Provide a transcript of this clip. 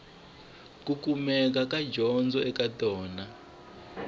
ku kumeka dyondzo eka tona